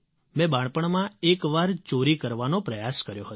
મેં બાળપણમાં એક વાર ચોરી કરવાનો પ્રયાસ કર્યો હતો